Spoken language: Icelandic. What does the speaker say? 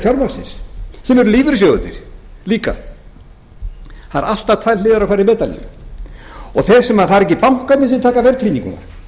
fjármagnsins sem eru lífeyrissjóðirnir líka það eru alltaf tvær hliðar á hverri medalíu og það eru ekki bankarnir sem taka verðtrygginguna